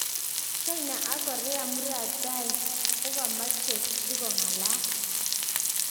China ak Korea muratai kokamacheng si kongalal